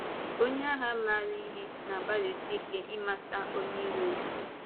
Onye agha maara ihe na-agbalịsị ike ịmata onye ìrò ya.